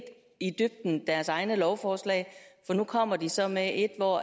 i dybden deres egne lovforslag for nu kommer de så med et hvor